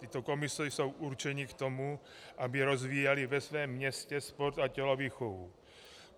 Tyto komise jsou určeny k tomu, aby rozvíjely ve svém městě sport a tělovýchovu.